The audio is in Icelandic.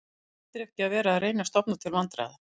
Þú ættir ekki að vera að reyna að stofna til vandræða